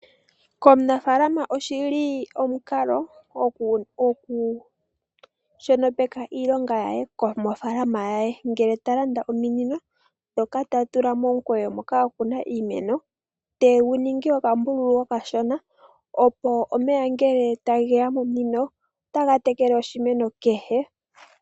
Komunafaalama oshili omukalo oku shonopeka iilonga yaye mofaalama yaye, ngele talanda ominino dhoka ta tula momikweyo moka akuna iimeno , tegu ningi okambululu okashona opo omeya ngele tageya momunino otaga tekele oshimeno kehe.